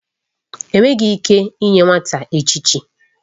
Enweghị ike inye nwata echichi.